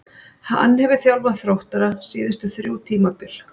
Hann hefur þjálfað Þróttara síðustu þrjú tímabil.